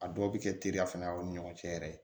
A dɔw bɛ kɛ teriya fana ni ɲɔgɔn cɛ yɛrɛ